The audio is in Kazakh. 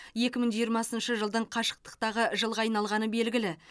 екі мың жиырмасыншы жылдың қашықтықтағы жылға айналғаны белгілі